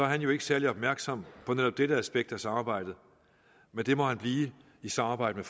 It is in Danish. han jo ikke særlig opmærksom på netop dette aspekt af samarbejdet men det må han blive i samarbejde